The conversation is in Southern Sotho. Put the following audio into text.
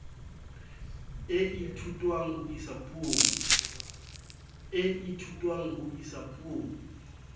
e ithutwang ho isa puong